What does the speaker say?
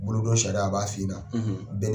Bolodon sariya a b'a f'i ɲɛna